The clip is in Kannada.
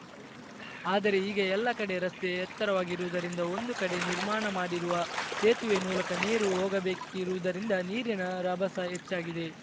ಆದರೆ ಈಗ ಎಲ್ಲ ಕಡೆ ರಸ್ತೆ ಎತ್ತರವಾಗಿರುವುದರಿಂದ ಒಂದು ಕಡೆ ನಿರ್ಮಾಣ ಮಾಡಿರುವ ಸೇತುವೆ ಮೂಲಕ ನೀರು ಹೋಗಬೇಕಿರುವುದರಿಂದ ನೀರಿನ ರಭಸ ಹೆಚ್ಚಾಗಿದೆ